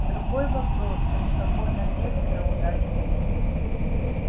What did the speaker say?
другой вопрос что никакой надежды на удачу нет